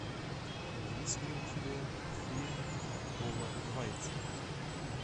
есть ли у тебя фильма пола вайца